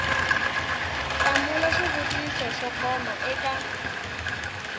hlamula swivutiso swo koma eka